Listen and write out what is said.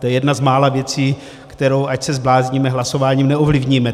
To je jedna z mála věcí, kterou, ať se zblázníme, hlasováním neovlivníme.